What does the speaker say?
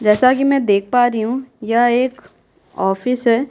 जैसा कि मैं देख पा रही हूँ यह एक ऑफिस है।